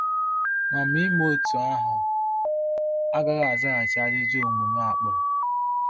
Ma Ma ime otú ahụ agaghị azaghachi ajụjụ omume a kpụrụ.